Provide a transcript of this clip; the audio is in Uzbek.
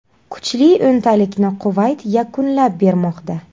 Kuchli o‘ntalikni Kuvayt yakunlab bermoqda.